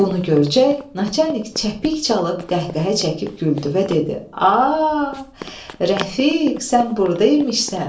Bunu görəcək, Naçalnik cəpik çalıb qəhqəhə çəkib güldü və dedi: A, Rəfiq, sən burda imişsən!